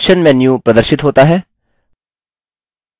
option menu प्रदर्शित होता है